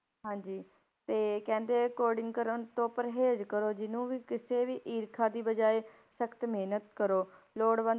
ਹਾਂਜੀ ਤੇ ਕਹਿੰਦੇ ਕੋਡਿੰਗ ਕਰਨ ਤੋਂ ਪਰਹੇਜ਼ ਕਰੋ ਜਿਹਨੂੰ ਵੀ ਕਿਸੇ ਵੀ ਈਰਖਾ ਦੀ ਬਜਾਏ ਸਖਤ ਮਿਹਨਤ ਕਰੋ, ਲੋੜਵੰਦ